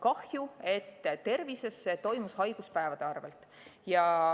Kahju, et tervise alal toimus see haiguspäevade arvel.